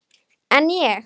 En ég.